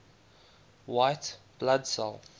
white blood cell